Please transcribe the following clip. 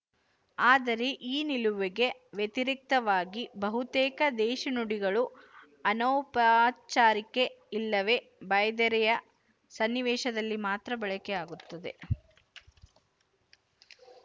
ಆದರೆ ಈ ನಿಲುವಿಗೆ ವ್ಯತಿರಿಕ್ತವಾಗಿ ಬಹುತೇಕ ದೇಶಿ ನುಡಿಗಳು ಅನೌಪಚಾರಿಕೆ ಇಲ್ಲವೇ ಬಾಯ್ದೆರೆಯ ಸನ್ನಿವೇಶದಲ್ಲಿ ಮಾತ್ರ ಬಳಕೆಯಾಗುತ್ತವೆ